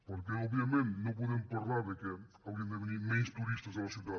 perquè òbviament no podem parlar del fet que haurien de venir menys turistes a la ciutat